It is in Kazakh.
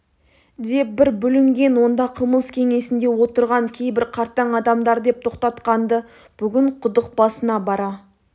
деп бір бүлінген онда қымыз кеңесінде отырған кейбір қартаң адамдар деп тоқтатқан-ды бүгін құдық басына бара